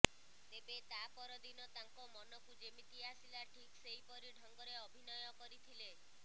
ତେବେ ତା ପରଦିନ ତାଙ୍କ ମନକୁ ଯେମିତି ଆସିଲା ଠିକ୍ ସେହିପରି ଢଙ୍ଗରେ ଅଭିନୟ କରିଥିଲେ